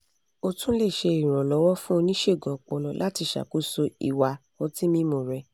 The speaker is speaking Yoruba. o tún lè ṣe ìrànlọ́wọ́ fún oníṣègùn ọpọlọ láti ṣàkóso ìwà ọtí mímu rẹ̀